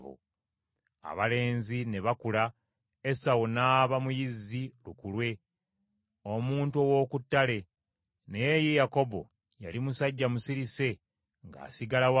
Abalenzi ne bakula, Esawu n’aba muyizzi lukulwe, omuntu ow’oku ttale. Naye ye Yakobo yali musajja musirise ng’asigala waka.